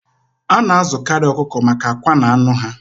A na-azụkarị ọkụkọ maka akwa na anụ ha.